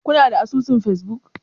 Kuna da asusun facebook?